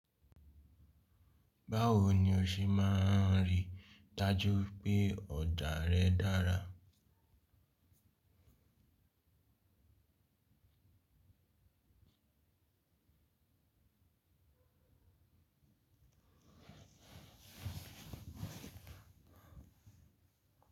Báwo ni o ṣe máa n rí dájú pé ọ̀jà rẹ dára?